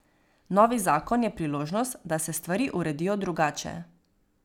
Novi zakon je priložnost, da se stvari uredijo drugače.